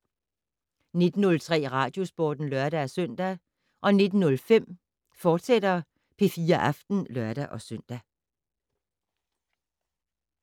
19:03: Radiosporten (lør-søn) 19:05: P4 Aften, fortsat (lør-søn)